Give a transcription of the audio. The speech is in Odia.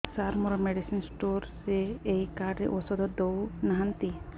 ସାର ମେଡିସିନ ସ୍ଟୋର ରେ ଏଇ କାର୍ଡ ରେ ଔଷଧ ଦଉନାହାନ୍ତି